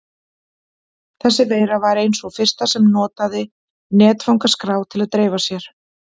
Þessi veira var ein sú fyrsta sem notaði netfangaskrá til að dreifa sér.